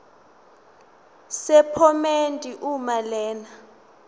sephomedi uma lena